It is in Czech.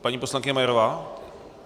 Paní poslankyně Majerová.